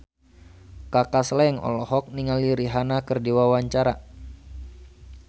Kaka Slank olohok ningali Rihanna keur diwawancara